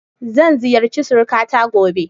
Zan ziyarci surikata gobe.